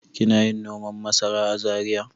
Kina yin noman masara a Zariya.